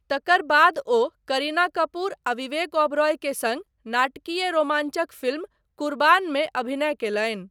तकर बाद ओ करीना कपूर आ विवेक ओबेरॉय के सङ्ग नाटकीय रोमाञ्चक फिल्म 'कुर्बान'मे अभिनय कयलनि।